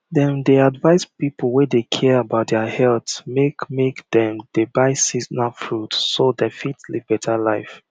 dem dey advise people wey dey care about deir health make make dem dey buy seasonal fruit so dem fit live better life